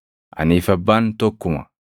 Anii fi Abbaan tokkuma.”